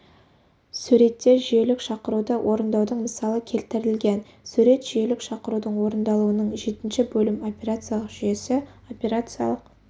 суретте жүйелік шақыруды орындаудың мысалы келтірілген сурет жүйелік шақырудың орындалуының жетінші бөлім операциялық жүйесі операциялық